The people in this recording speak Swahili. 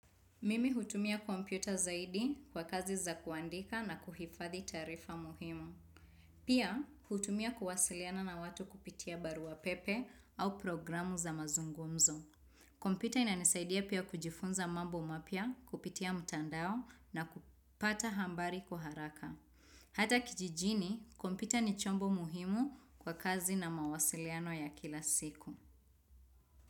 Mimi hutumia kompyuta zaidi kwa kazi za kuandika na kuhifadhi taarifa muhimu. Pia, hutumia kuwasiliana na watu kupitia barua pepe au programu za mazungumzo. Kompyuta inanisaidia pia kujifunza mambo mapya kupitia mtandao na kupata habari kwa haraka. Hata kijijini, kompyuta ni chombo muhimu kwa kazi na mawasiliano ya kila siku.